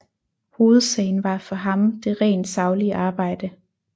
Hovedsagen var for ham det rent saglige arbejde